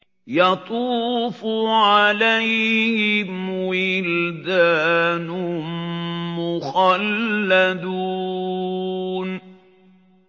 يَطُوفُ عَلَيْهِمْ وِلْدَانٌ مُّخَلَّدُونَ